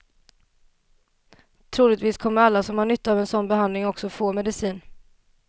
Troligtvis kommer alla som har nytta av en sådan behandling också att få medicin.